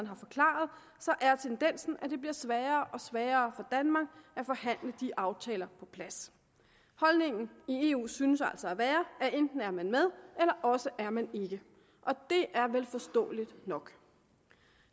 har forklaret er tendensen at det bliver sværere og sværere for danmark at forhandle de aftaler på plads holdningen i eu synes altså at være at enten er man med eller også er man ikke det er vel forståeligt nok